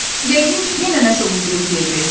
Yəqin yenə nəsə uydurub deyəcəksən.